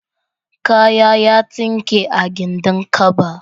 Kaya ya tsinke a gindin kaba.